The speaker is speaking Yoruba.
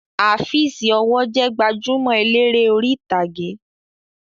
Afeez ọwọ́ jẹ gbajúmọ̀ eléré orí ìtàgé